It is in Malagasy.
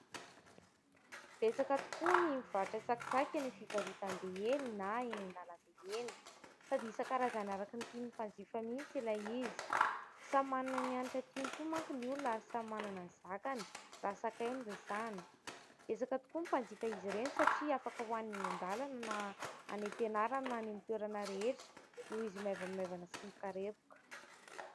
Betsaka tokoa ny mivarotra tsakitsaky eny amin'ny fivarotam-be eny na eny an-dalambe eny, sady isan-karazany araka ny tian'ny mpanjifa mihitsy ilay izy. Samy manana ny hanitra tiany koa manko ny olona ary samy manana ny zakany, raha sakay no resahana. Betsaka tokoa ny mpanjifa azy ireny satria afaka hohanina eny an-dalana na any am-pianarana na any amin'ny toerana rehetra, noho izy maivamaivana sy mikarepoka.